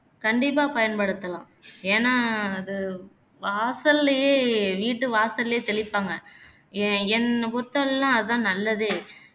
கண்டிப்பா பயன்படுத்தலாம் ஏனா அது வாசல்லையே வீட்டு வாசல்லையே தெளிப்பாங்க எஎன்ன பொருத்தவரையிலும் அதான் நல்லதே